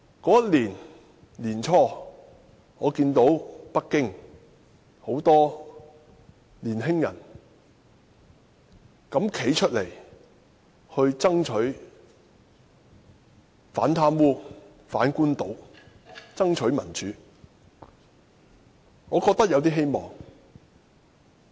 那年年初，我看到北京很多年青人敢膽站出來，反貪污、反官倒、爭取民主，我覺得有點希望。